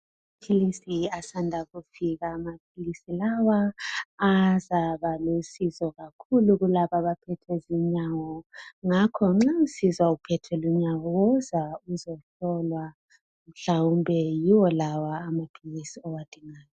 amaphilisi asanda kufika amaphilisi lawa azaba lsizo kakhulu kulaba abaphethwe zinyawo ngakho nxa usizwa uphethwe lunyawo woza uzohlolwa mhlawumbe yiwo lawa amaphilisi owadingayo